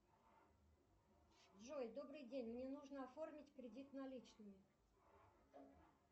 джой добрый день мне нужно оформить кредит наличными